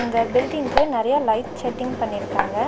அந்த பில்டிங்க்கு நெறையா லைட் செட்டிங் பண்ணிருக்காங்க.